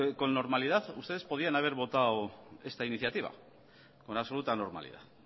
que con normalidad ustedes podrían haber votado esta iniciativa con absoluta normalidad